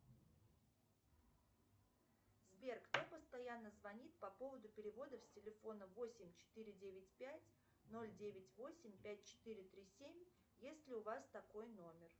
сбер кто постоянно звонит по поводу переводов с телефона восемь четыре девять пять ноль девять восемь пять четыре три семь есть ли у вас такой номер